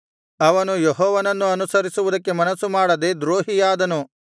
ಅವನು ಯೆಹೋವನನ್ನು ಅನುಸರಿಸುವುದಕ್ಕೆ ಮನಸ್ಸುಮಾಡದೆ ದ್ರೋಹಿಯಾದನು